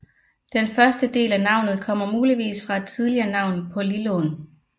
Den første del af navnet kommer muligvis fra et tidligere navn på Lillån